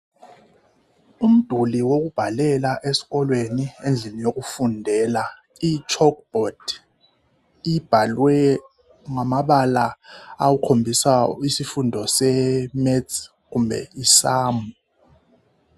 Umduli wokubhalela esikolweni endlini yokufundela. Itshokhubhodi ibhalwe ngamabala akhombisa isifundo se metsi kumbe i samu.